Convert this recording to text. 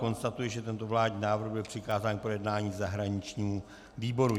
Konstatuji, že tento vládní návrh byl přikázán k projednání zahraničnímu výboru.